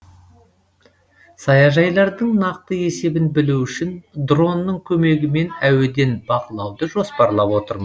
саяжайлардың нақты есебін білу үшін дронның көмегімен әуеден бақылауды жоспарлап отырмыз